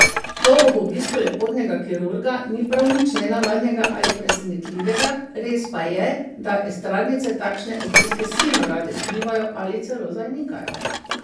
To ob obisku lepotnega kirurga ni prav nič nenavadnega ali presenetljivega, res pa je, da estradnice takšne obiske silno rade skrivajo ali celo zanikajo.